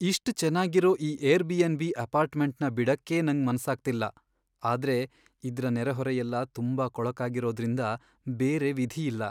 ಇಷ್ಟ್ ಚೆನ್ನಾಗಿರೋ ಈ ಏರ್ಬಿ.ಎನ್.ಬಿ. ಅಪಾರ್ಟ್ಮೆಂಟ್ನ ಬಿಡಕ್ಕೇ ನಂಗ್ ಮನ್ಸಾಗ್ತಿಲ್ಲ, ಆದ್ರೆ ಇದ್ರ ನೆರೆಹೊರೆಯೆಲ್ಲ ತುಂಬಾ ಕೊಳಕಾಗಿರೋದ್ರರಿಂದ ಬೇರೆ ವಿಧಿಯಿಲ್ಲ.